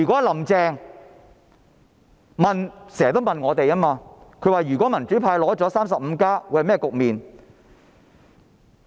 "林鄭"經常問，如果民主派取得 "35+" 會是甚麼局面？